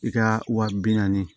I ka wa bi naani